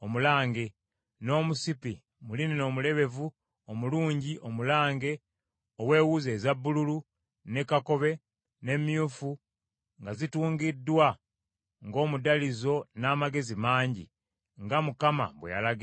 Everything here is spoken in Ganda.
n’omusipi mu linena omulebevu omulungi omulange ow’ewuzi eza bbululu, ne kakobe ne myufu nga zitungiddwa ng’omudalizo n’amagezi mangi; nga Mukama bwe yalagira Musa.